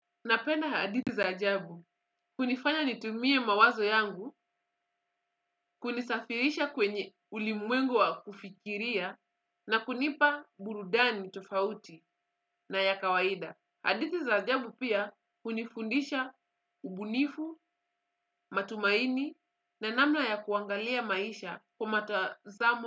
Napenda hadithi za ajabu. Hunifanya nitumie mawazo yangu, kunisafirisha kwenye ulimwengu wa kufikiria na kunipa burudani tofauti na ya kawaida. Hadithi za ajabu pia hunifundisha ubunifu, matumaini na namna ya kuangalia maisha kwa mtazamo.